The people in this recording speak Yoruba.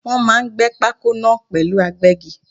Wọ́n máà ń gbé pákó náà pẹ̀lú agbẹ́gi.